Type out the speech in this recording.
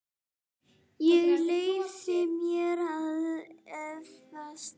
Ég leyfi mér að efast.